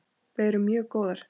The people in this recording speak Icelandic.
Við erum mjög góðar.